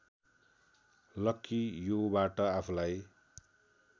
लक्कि युबाट आफूलाई